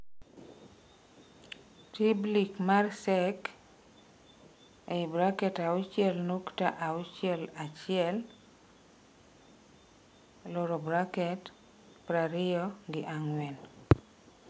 Riblik mar Cek (auchiel nukta auchiel achiel) prariyo gi angwen